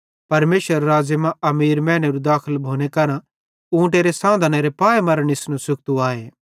परमेशरेरे राज़्ज़े मां अमीर मैनेरू दाखल भोने केरां ऊँटेरू सांधनेरे पाऐ मरां निस्नू सुख्तू आए